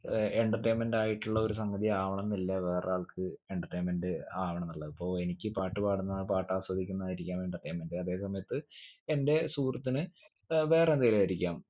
ഏർ entertainment ആയിട്ടുള്ള ഒരു സംഗതി ആവണംന്നില്ല വേറൊരാൾക്ക് entertainment ആവണെന്നുള്ളത് ഇപ്പൊ എനിക്ക് പാട്ട് പാടുന്നത് പാട്ട് ആസ്വദിക്കുന്നതായിരിക്കാം entertainment അതെ സമയത്ത് എന്റെ സുഹൃത്തിന് ഏർ വേറെ എന്തേലും ആയിരിക്കാം